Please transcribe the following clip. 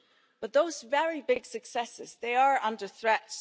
But those very big successes are under threat.